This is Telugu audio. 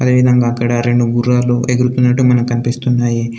అదేవిధంగా అక్కడ రెండు గుర్రాలు ఎగురుతున్నట్టు మనకి కనిపిస్తున్నాయి.